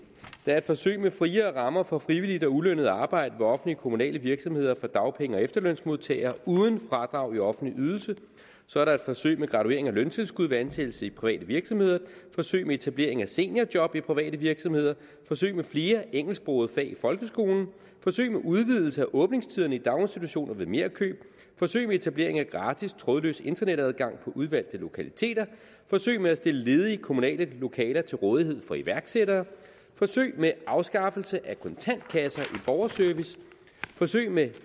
er et forsøg med friere rammer for frivilligt og ulønnet arbejde ved offentlige kommunale virksomheder for dagpenge og efterlønsmodtagere uden fradrag i offentlig ydelse så er der et forsøg med graduering af løntilskud ved ansættelse i private virksomheder forsøg med etablering af seniorjob i private virksomheder forsøg med flere engelsksprogede fag i folkeskolen forsøg med udvidelse af åbningstiderne i daginstitutioner ved merkøb forsøg med etablering af gratis trådløs internetadgang på udvalgte lokaliteter forsøg med at stille ledige kommunale lokaler til rådighed for iværksættere forsøg med afskaffelse af kontantkasser i borgerservice forsøg med